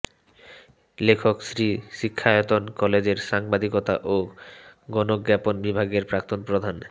লেখক শ্রী শিক্ষায়তন কলেজের সাংবাদিকতা ও গণজ্ঞাপন বিভাগের প্রাক্তন প্রধান